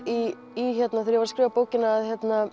þegar ég var að skrifa bókina